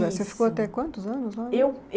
Isso. Você ficou até quantos anos lá? Eu